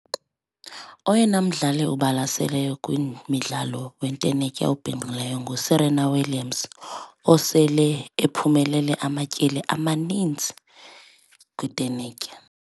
Oyena mdlalo ubalaseleyo kwimidlalo wentenetya obhinqileyo nguSerena Williams osele ephumelele amatyeli amanintsi kwintenetya.